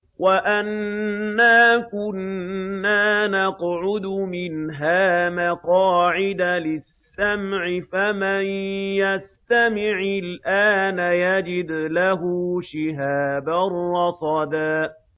وَأَنَّا كُنَّا نَقْعُدُ مِنْهَا مَقَاعِدَ لِلسَّمْعِ ۖ فَمَن يَسْتَمِعِ الْآنَ يَجِدْ لَهُ شِهَابًا رَّصَدًا